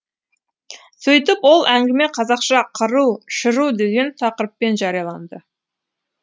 сөйтіп ол әңгіме қазақша қыру шыру деген тақырыппен жарияланды